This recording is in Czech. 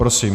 Prosím.